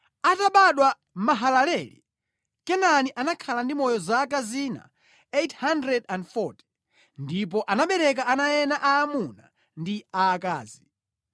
Atabadwa Mahalaleli, Kenani anakhala ndi moyo zaka zina 840 ndipo anabereka ana ena aamuna ndi aakazi.